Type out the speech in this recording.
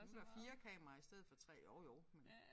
Nu der 4 kameraer i stedet for 3 jo jo men